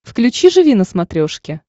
включи живи на смотрешке